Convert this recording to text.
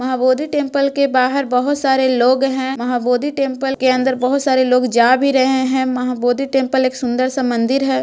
Mahabodhi temple के बाहर बहुत सारे लोग हैं | महाबोधि टेम्पल के अंदर बहुत सारे लोग जा भी रहे हैं | महाबोधि टेम्पल एक सुंदर सा मंदिर है।